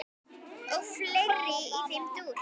og fleira í þeim dúr.